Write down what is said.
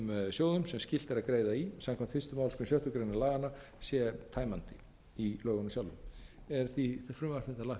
sjóðum sem skylt er að greiða í samkvæmt fyrstu málsgrein sjöttu grein laganna sé tæmandi í lögunum sjálfum er frumvarpið því lagt fram